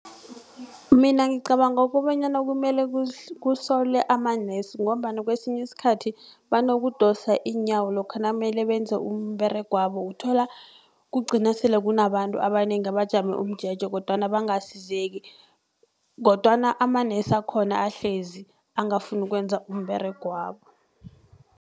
Mina ngicabanga kobanyana kumele kusolwe ama-nurse ngombana kwesinye iskhathi banokudosa iinyawo lokha nakumele benze umberegwabo uthola kugcina sele kunabantu abanengi abajame umjeje kodwana bangasizeki kodwana amanesi akhona ahlezi angafuni ukwenza umberego wabo.